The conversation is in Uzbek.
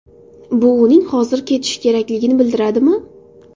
Bu uning hozir ketishi kerakligini bildiradimi?